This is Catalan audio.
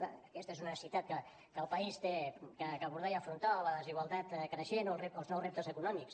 clar aquesta és una necessitat que el país ha d’abordar i afrontar o la desigualtat creixent o els nous reptes econòmics